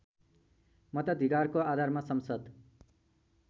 मताधिकारको आधारमा संसद